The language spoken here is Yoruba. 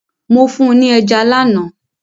Mo fún ni ẹja lánàá.